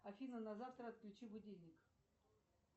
афина на завтра отключи будильник